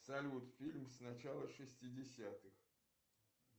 салют фильм с начала шестидесятых